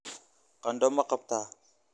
qandho ma qabtaa?